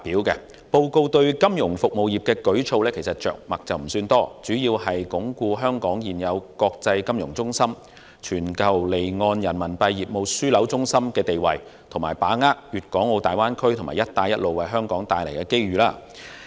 施政報告對金融服務業的舉措着墨不多，相關措施主要為鞏固香港現有國際金融中心及全球離岸人民幣業務樞紐的地位，並把握粵港澳大灣區及"一帶一路"為香港帶來的機遇。